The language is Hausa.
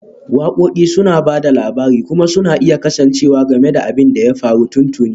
Waƙoƙi suna ba da labari kuma suna iya kasancewa game da abin da ya faru tuntuni